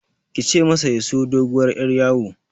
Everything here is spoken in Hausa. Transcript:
Kice masa ya siyo doguwar Yar yawo